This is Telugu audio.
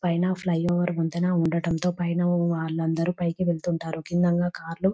పైన ఫ్లై ఓవర్ వంతెన ఉండడంతో పైన వాళ్ళందరూ పైన వెళుతూ ఉంటారు కింద నా కార్లు .